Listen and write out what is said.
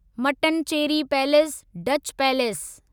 Mattancherry palace Dutch palace